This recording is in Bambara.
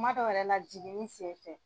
Kuma dɔw yɛrɛ la jiginni senfɛ.